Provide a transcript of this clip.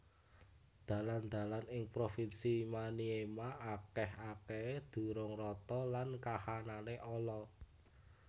Dalan dalan ing provinsi Maniema akèh akèhé durung rata lan kahanané ala